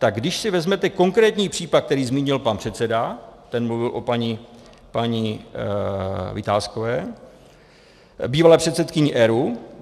Tak když si vezmete konkrétní případ, který zmínil pan předseda, ten mluvil o paní Vitáskové, bývalé předsedkyni ERÚ.